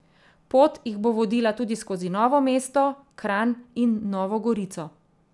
Pot jih bo vodila tudi skozi Novo mesto, Kranj in Novo Gorico.